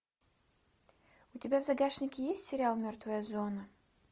у тебя в загашнике есть сериал мертвая зона